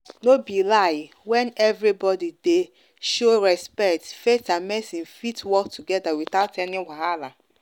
no be lie when everybody dey show respect faith and medicine fit work together without any wahala.